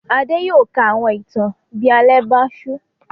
Adé yóò ka àwọn ìtàn bí alẹ́ bá ṣú.